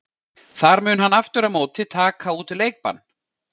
Þar mun hann aftur á móti taka út leikbann.